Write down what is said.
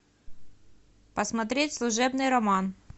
посмотреть служебный роман